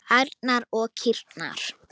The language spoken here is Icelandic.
Ærnar og kýrnar.